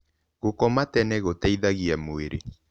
Gũkoma tene gũteĩthagĩa mwĩrĩ